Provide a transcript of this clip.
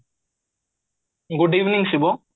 good evening Shiva